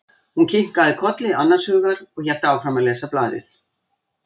Hún kinkaði kolli annars hugar og hélt áfram að lesa blaðið.